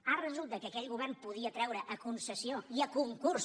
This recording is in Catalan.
ara resulta que aquell govern podia treure a concessió i a concurs